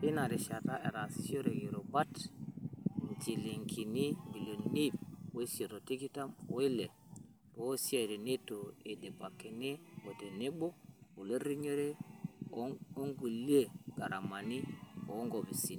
teina rishata, etaasishore irubat njilingini ibilioni iip oisiet o tikitam o ile toosiatin neitu eidipakini aa tenebo olerinyore ongulia gharamani o nkofisi